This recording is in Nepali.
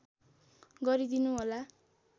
गरिदिनु होला